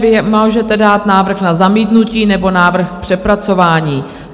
Vy můžete dát návrh na zamítnutí nebo návrh k přepracování.